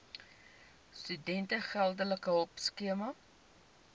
studente geldelike hulpskema